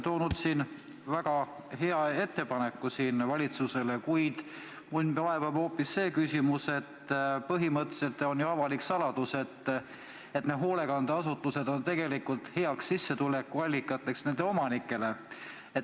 Te olete esitanud väga head ettepanekud valitsusele, kuid mind vaevab hoopis see küsimus, et põhimõtteliselt on ju avalik saladus, et hoolekandeasutused on tegelikult heaks sissetulekuallikaks nende omanikele.